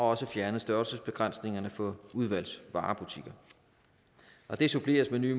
også fjernet størrelsesbegrænsningerne for udvalgsvarebutikker det suppleres med nye